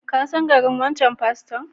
Ka san garin wancan paston?